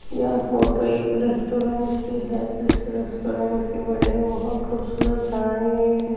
यह फोटो एक रेस्टोरेंट की है जिस रेस्टोरेंट की बिल्डिंग बहुत खूबसूरत बनाई गई है।